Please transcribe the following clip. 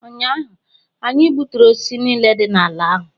ụnyahụ, anyị gbuturu osisi niile dị n’ala ahụ